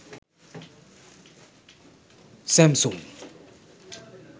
samsung